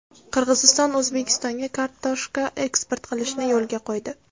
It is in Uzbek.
Qirg‘iziston O‘zbekistonga kartoshka eksport qilishni yo‘lga qo‘ydi.